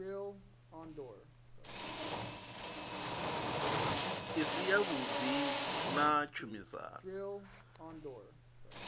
i si yavhuḓi na tshumisano